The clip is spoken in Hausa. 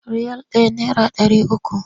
Riyal ɗaya naira ɗari uku.